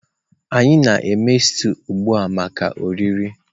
anyị na-eme stew ugbu a maka oriri.